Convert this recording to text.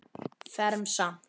Fermt samt.